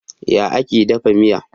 Ya ake dafa miya?